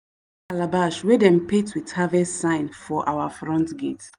i hang calabash wey dem paint with harvest sign for our front gate.